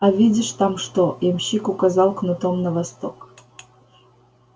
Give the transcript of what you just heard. а видишь там что ямщик указал кнутом на восток